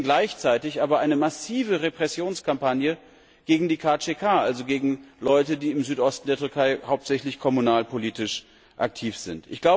Wir sehen gleichzeitig aber eine massive Repressionskampagne gegen die KCK, also gegen Leute, die im Südosten der Türkei hauptsächlich kommunalpolitisch aktiv sind.